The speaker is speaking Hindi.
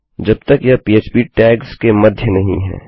जब तक यह पह्प टैग्स के मध्य नहीं है